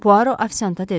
Puaro ofisiantə dedi: